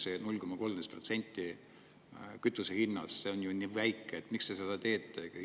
See 0,13% kütuse hinnas on ju nii väike – miks te seda teete?